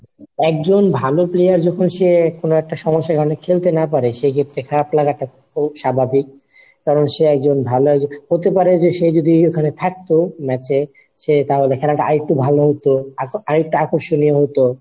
একজন ভালো player যখন সে কোনো একটা সমস্যায় মানে খেলতে না পারে সেই ক্ষেত্রে খারাপ লাগাটা খুব স্বাভাবিক, কারণ সে একজন ভালো একজন হতে পারে যে সে যদি ওখানে থাকতো match এ সে তাহলে খেলাটা আরেকটু ভালো হতো আর একটু আকর্ষণীয় হতো।